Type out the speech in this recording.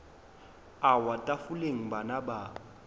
a wa tafoleng bana ba